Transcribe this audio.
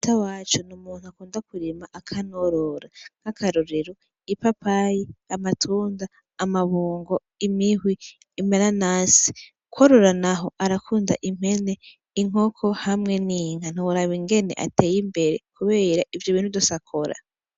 Ata waco niumuntu akunda kurima akanorora nk'akarorero ipapayi amatunda amabungo imihwi impara nasi kwarura, naho arakunda impene inkoko hamwe n'inka ntoraba ingene ateye imbere, kubera ivyo bintu dusakora.